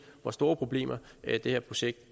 hvor store problemer det her projekt